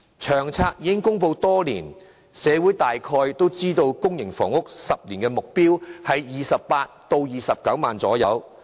《長遠房屋策略》已公布多年，社會大概都知道公營房屋的10年目標是興建約28萬至29萬個單位。